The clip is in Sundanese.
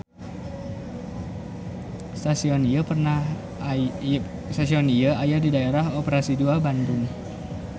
Stasion ieu aya di Daerah Operasi II Bandung.